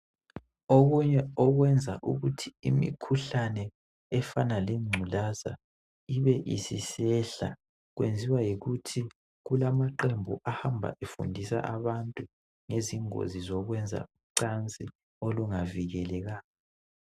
Okunye okwenza ukuthi imikhuhlane efana lengculaza ibe isisehla kwenziwa yikuthi kulamaqembu ahamba efundisa abantu ngezingozi zokwenza ucansi olungavikelekanga.